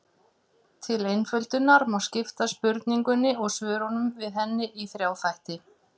Til einföldunar má skipta spurningunni og svörum við henni í þrjá þætti.